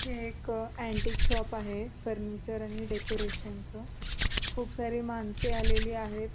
हे एक antique shop आहे फर्निचर आणि डेकोरेशन च. खूप सारे माणसं आलेले आहेत.